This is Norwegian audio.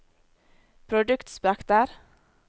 produktspekter